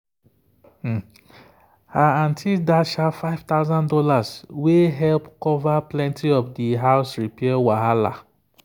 her aunty dash her five thousand dollars wey help cover plenty of the house repair wahala.